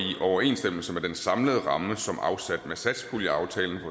overensstemmelse med den samlede ramme som afsat med satspuljeaftalen